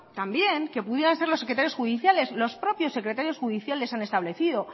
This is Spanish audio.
también que pudieran los secretarios judiciales los propios secretarios judiciales han establecido